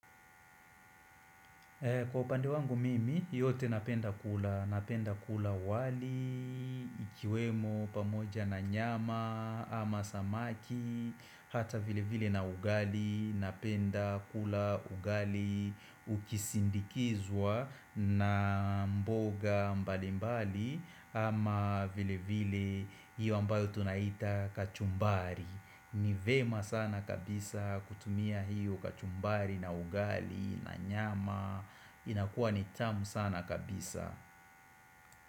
Kwa upande wangu mimi, yote napenda kula. Napenda kula wali, ikiwemo pamoja na nyama ama samaki, hata vile vile na ugali. Napenda kula ugali ukisindikizwa na mboga mbali mbali ama vile vile hiyo ambayo tunaita kachumbari. Ni vema sana kabisa kutumia hiyo kachumbari na ugali na nyama inakua ni tamu sana kabisa.